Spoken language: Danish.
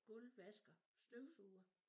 Gulvvasker og støvsuger